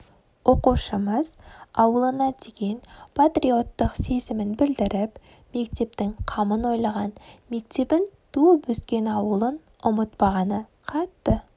оқушымыз ауылына деген патриотттық сезімін білдіріп мектептің қамын ойлаған мектебін туып өскен ауылын ұмытпағаны қатты